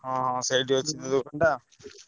ହଁ ହଁ ସେଇଠି ଅଛି ଗୋଦାମ ଟା।